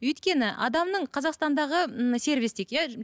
өйткені адамның қазақстандағы ммм сервис дейік иә